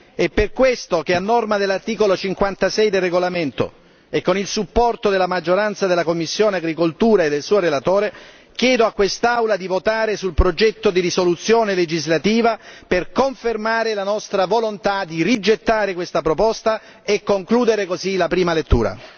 E per questo, che a norma dell'articolo 56 del regolamento e con il supporto della maggioranza della commissione per l'agricoltura e del suo relatore, chiedo a quest'Aula di votare sul progetto di risoluzione legislativa per confermare la nostra volontà di rigettare questa proposta e concludere così la prima lettura.